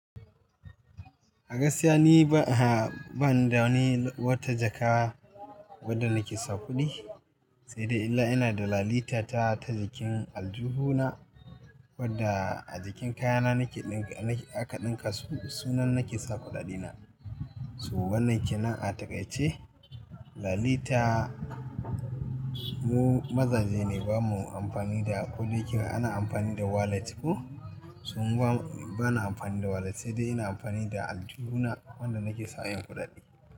A gaskiya ni ba, a'a bani da wani wata jaka wadda nake sa kuɗi, sai dai illa ina da lalita ta ta jikin aljihu na wadda a jikin kayana nake ɗinka, nake aka ɗinka sunan nake sa kuɗaɗe na. To wannan ke nan a taƙaice, lalita mu mazaje ne bamu amfani da kuɗi kika, ana amfani da wallet ku. To mu ba, bana amfani da wallet sai dai ina amfani da aljuhu na wanda nake sa 'yan kuɗaɗe.